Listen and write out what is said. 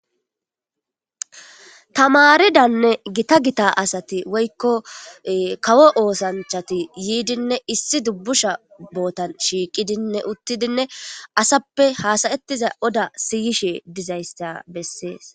Tamaridanne gita gita asati woykko kawo oosanchati yiidinne issi dubbusha bootan shiiqidinne uttidinne asappe haasayettiza oda siyishe dizaysta bessees.